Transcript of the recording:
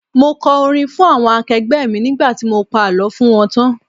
Mo kọ orin fún àwọn akẹgbẹ́ mi nígbà tí mo pa àlọ́ fún wọn tán.